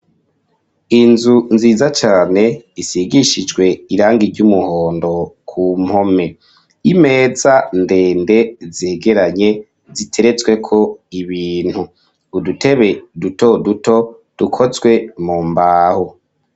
Inzu nziza cane isigishijwe irangi ry'umuhondo ku mpome. Imeza ndende zegeranye ziteretsweko ibintu, udutebe dutoduto dukozwe mu mbaho.